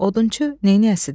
Odunçu neynəyəsidir?